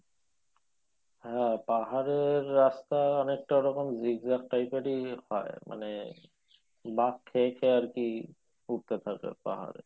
হ্যাঁ পাহাড়ের রাস্তা অনেকটা ওরকম zigzag type এরই হয় মানে বাক খেয়ে খেয়ে আরকি উঠতে থাকে পাহাড়ে